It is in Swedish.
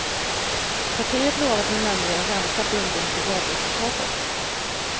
Partiet lovade nämligen ränta bunden till valresultatet.